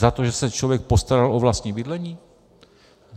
Za to, že se člověk postaral o vlastní bydlení?